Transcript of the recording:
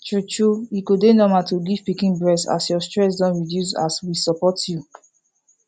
true true e go dey normal to give pikin breast as your stress don reduce as we support you